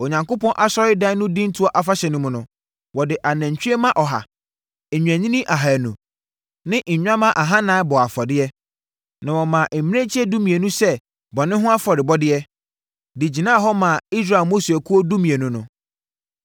Onyankopɔn asɔredan no dintoɔ afahyɛ no mu no, wɔde anantwie mma ɔha, nnwennini ahanu ne nnwammaa ahanan bɔɔ afɔdeɛ. Na wɔmaa mmirekyie dumienu sɛ bɔne ho afɔrebɔdeɛ, de gyinaa hɔ maa Israel mmusuakuo dumienu no.